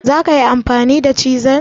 zakayi amfani da chisel?